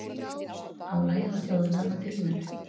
Álagið á þjóðina var gríðarlegt